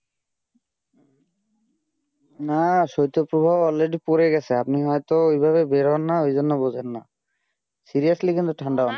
না শৈত্য প্রবাহ already পড়ে গেছে, আপনিতো এই ভাবে বের হন না ওই জন্য বোঝেন না seriously কিন্তু ঠান্ডা অনেক